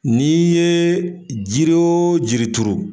N'i ye jiri wo jiri turu.